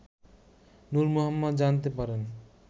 নূর মোহাম্মদ জানতে পারেন